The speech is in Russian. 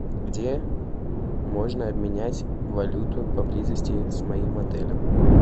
где можно обменять валюту поблизости с моим отелем